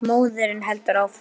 Móðirin heldur áfram.